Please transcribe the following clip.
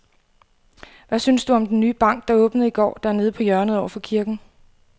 Hvad synes du om den nye bank, der åbnede i går dernede på hjørnet over for kirken?